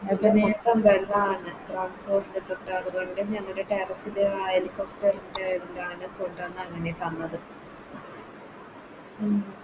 ഏറ്റോം വെള്ളാണ് Transport ലോക്കെ അതുകൊണ്ട് ഞങ്ങക്ക് Terrace ല് ആ Helicopter ൻറെ ഇതിലാണ് കൊണ്ടോന്ന് അങ്ങനെ തന്നത് ഉം